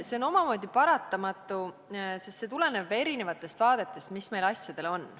See on omamoodi paratamatu, sest see tuleneb ka erinevatest vaadetest, mis meil asjadele on.